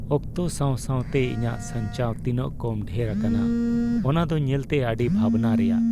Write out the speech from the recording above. ᱚᱠᱛᱚ ᱥᱟᱶ ᱥᱟᱶᱛᱮ ᱤᱧᱟᱹᱜ ᱥᱟᱧᱪᱟᱣ ᱛᱤᱱᱟᱹᱜ ᱠᱚᱢ ᱰᱷᱮᱨ ᱟᱠᱟᱱᱟ ᱚᱱᱟ ᱫᱚ ᱧᱮᱞᱛᱮ ᱟᱹᱰᱤ ᱵᱷᱟᱵᱽᱱᱟ ᱨᱮᱭᱟᱜ ᱾